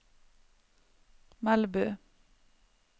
Melbu